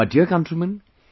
My dear countrymen,